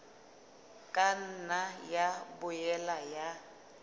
ka nna ya boela ya